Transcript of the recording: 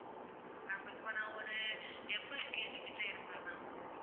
நான் ஒரு எம்பது KG கிட்ட இருப்பேன் ma'am